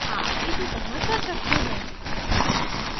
आप इसी तरफ कर सकते हैं